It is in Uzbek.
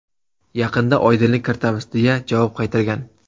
Yaqinda oydinlik kiritamiz”, deya javob qaytargan.